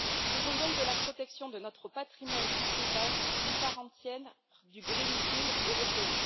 Faisons donc de la protection de notre patrimoine culturel une part entière du pacte vert européen.